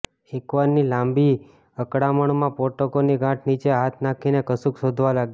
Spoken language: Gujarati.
એકવાર ની લાંબી અકળામણમાં પોટકાની ગાંઠ નીચે હાથ નાખીને કશુંક શોધવા લાગ્યા